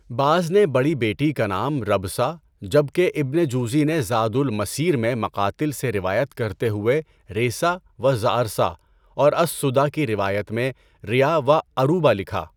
بعض نے بڑی بیٹی کا نام ربثا جبکہ ابن جوزی نے زادُ المَسِیر میں مقاتل سے روایت کرتے ہوئے ريثا و زعرثا اور السُّدیٰ کی روایت میں ریہ و عَرُوبہ لکھا۔